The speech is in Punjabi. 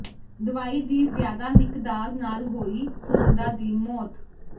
ਦਵਾਈ ਦੀ ਜ਼ਿਆਦਾ ਮਿਕਦਾਰ ਨਾਲ ਹੋਈ ਸੁਨੰਦਾ ਦੀ ਮੌਤ